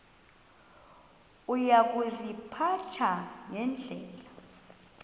uya kuziphatha ngendlela